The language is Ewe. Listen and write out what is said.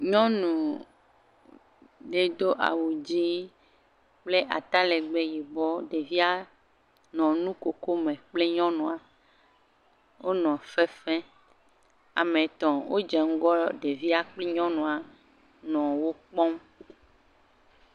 Nyɔnu ɖe do awu dzié kple ata legbee yibɔ, ɖevia nɔ nu koko me kpli nyɔnua, onɔ fefe, ame etɔ̃ odze ŋgɔ ɖevia kpli nyɔnua, nɔ okpɔm.